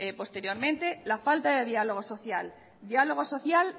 posteriormente la falta de diálogo social diálogo social